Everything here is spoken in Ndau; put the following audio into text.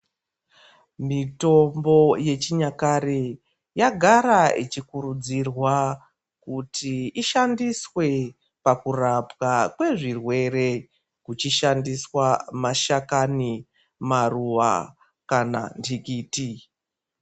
Mitombo yechinyakare yagara ichikurudzirwa kuti ishandiswe pakurapwa kwezvirwere kuchishandiswa mashakanyi, maruwa kana ndikiti.